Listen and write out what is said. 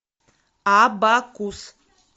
абакус